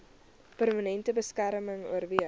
permanente beskerming oorweeg